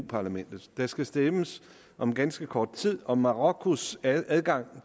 parlamentet der skal stemmes om ganske kort tid om marokkos adgang